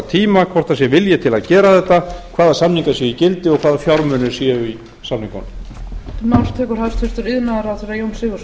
tíma hvort það sé vilji til að gera þetta hvaða samningar séu í gildi og hvaða fjármunir séu í samningunum